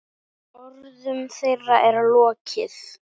Orðum þeirra er lokið.